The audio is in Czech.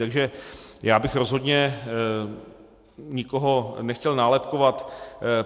Takže já bych rozhodně nikoho nechtěl nálepkovat.